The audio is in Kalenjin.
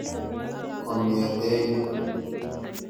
Kong'ete yu.